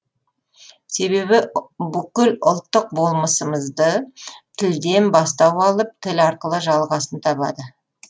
себебі бүкіл ұлттық болмысымызды тілден бастау алып тіл арқылы жалғасын табады